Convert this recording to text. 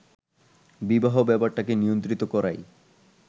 বিবাহ ব্যাপারটাকে নিয়ন্ত্রিত করাই